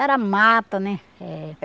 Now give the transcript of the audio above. Era mata, né? Eh